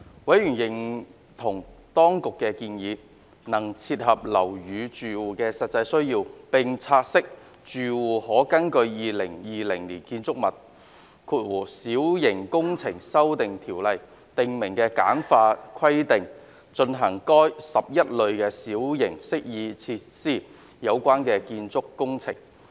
委員認同當局的建議能切合樓宇住戶的實際需要，並察悉住戶可根據《2020年建築物規例》訂明的簡化規定進行與該11類小型適意設施有關的建築工程。